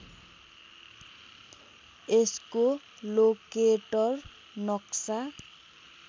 यसको लोकेटर नक्सा